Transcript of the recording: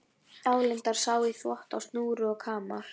Álengdar sá í þvott á snúru og kamar.